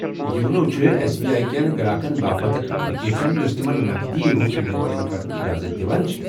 YONO چھےٚ S B I كین گراكن باپت اكھ ایپلِكیشن یۄسہٕ تِمن نقدی روٚس لین دین كرنُک اجازت دِوان چِھ ۔